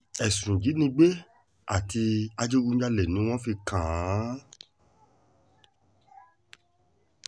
ẹ̀sùn ìjínigbé àti ìdígunjalè ni wọ́n fi kàn án